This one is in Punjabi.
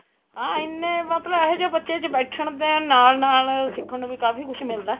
ਹਾਂ ਇੰਨੇ ਮਤਲਬ ਇਹੇ ਜੇ ਬੱਚੇ ਚ ਬੈਠਣ ਦੇ ਨਾਲ ਨਾਲ ਸਿੱਖਣ ਨੂੰ ਵੀ ਕਾਫੀ ਕੁੱਝ ਮਿਲਦਾ